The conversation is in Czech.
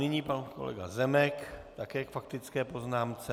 Nyní pan kolega Zemek také k faktické poznámce.